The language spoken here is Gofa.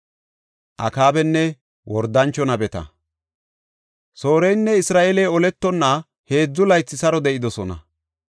Sooreynne Isra7eeley oletonna heedzu laythi saro de7idosona.